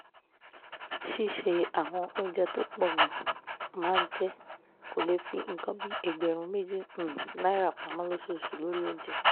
ṣíṣe àwọn oúnjẹ tó pọ̀ gan-an máa jẹ́ kó lè fi nǹkan bí ẹgbẹ̀rún méjì um náírà pamọ́ lóṣooṣù lórí oúnjẹ